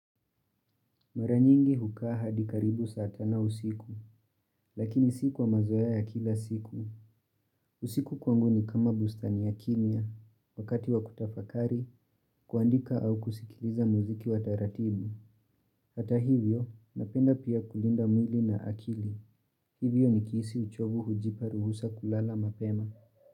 Maranyingi hukaa hadikaribu saa tano usiku, lakini siku kwa mazoea ya kila siku. Usiku kwangu ni kama bustani ya kimya, wakati wa kutafakari, kuandika au kusikiliza muziki wa taratibu. Hata hivyo, napenda pia kulinda mwili na akili. Hivyo nikihisi uchovu hujipa ruhusa kulala mapema.